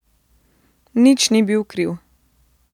Nič ni bil kriv.